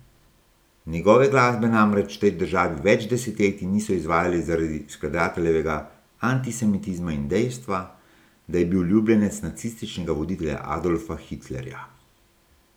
Njegove glasbe namreč v tej državi več desetletij niso izvajali zaradi skladateljevega antisemitizma in dejstva, da je bil ljubljenec nacističnega voditelja Adolfa Hitlerja.